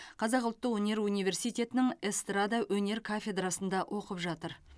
қазақ ұлттық өнер университетінің эстрада өнер кафедрасында оқып жатыр